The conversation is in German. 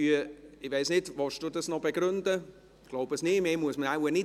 Der Antrag gilt zugleich als Planungserklärung zu den finanziellen Effekten im AFP 2021–23.